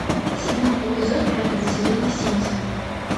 седьмой эпизод пятого сезона симпсоны